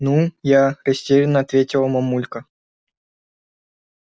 ну я растеряно ответила мамулька